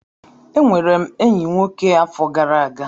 Enwere m enyi nwoke afọ gara aga.